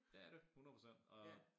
Det er det 100% og